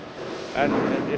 en í